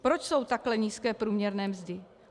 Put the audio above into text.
Proč jsou takhle nízké průměrné mzdy?